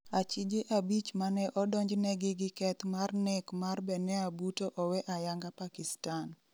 Achije abich mane odonj negi gi keth mar nek mar Benair Bhutto owe ayanga Pakistan